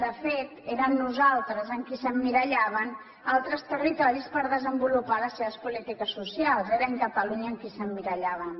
de fet era en nosaltres en qui s’emmirallaven altres territoris per desenvolupar les seves polítiques socials era en catalunya en qui s’emmirallaven